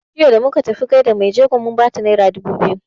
Jiya da muka tafi gaishe da mai jego mun bata naira dubu biyu.